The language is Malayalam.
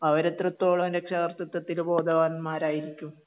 അവരെത്രത്തോളം രക്ഷകർതൃത്വത്തിൽ ബോധവാന്മാരായിരിക്കും